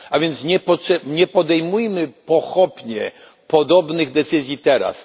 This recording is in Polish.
A więc nie podejmujmy pochopnie podobnych decyzji teraz.